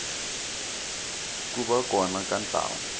ku va kona ka ntlawa